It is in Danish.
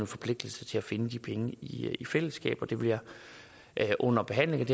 forpligtelse til at finde de penge i i fællesskab og det vil jeg under behandlingen af